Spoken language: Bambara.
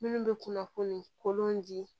Minnu bɛ kunnafoni kolon di